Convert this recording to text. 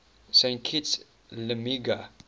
saint kitts liamuiga